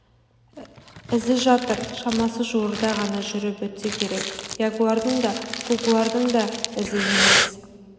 ізі жатыр шамасы жуырда ғана жүріп өтсе керек ягуардың да кугуардың да ізі емес